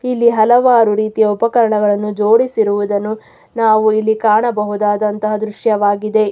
ಇಲ್ಲಿ ಹಲವಾರು ರೀತಿಯ ಉಪಕರಣಗಳನ್ನು ಜೋಡಿಸಿರುವುದನ್ನು ನಾವು ಇಲ್ಲಿ ಕಾಣಬಹುದಾದಂಥ ದೃಶ್ಯವಾಗಿದೆ.